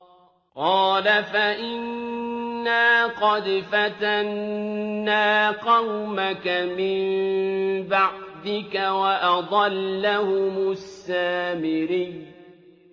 قَالَ فَإِنَّا قَدْ فَتَنَّا قَوْمَكَ مِن بَعْدِكَ وَأَضَلَّهُمُ السَّامِرِيُّ